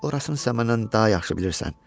Orasını isə məndən daha yaxşı bilirsən.